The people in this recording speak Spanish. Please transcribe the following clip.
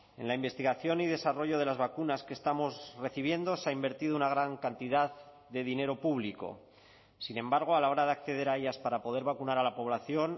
en la investigación y desarrollo de las vacunas que estamos recibiendo se ha invertido una gran cantidad de dinero público sin embargo a la hora de acceder a ellas para poder vacunar a la población